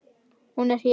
Hún er hér.